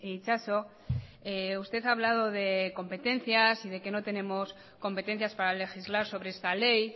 itxaso usted ha hablado de competencias y de que no tenemos competencias para legislar sobre esta ley